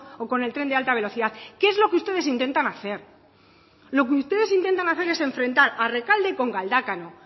o con el tren de alta velocidad que es lo que ustedes intentan hacer lo que ustedes intentan hacer es enfrentar a rekalde con galdakao